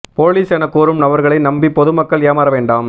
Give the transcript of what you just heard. police என கூறும் நபர்களை நம்பி பொதுமக்கள் ஏமாற வேண்டாம்